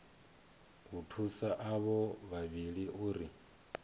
u thusa avho vhavhili uri